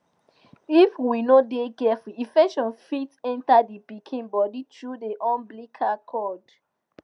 if we no de careful infection fit enter the pikin body through the umbilical cord